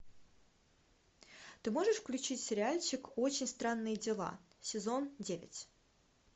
ты можешь включить сериальчик очень странные дела сезон девять